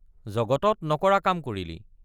জগতত নকৰা কাম কৰিলি।